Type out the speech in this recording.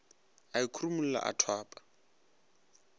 a e khurumolla a thwapa